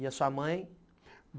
E a sua mãe?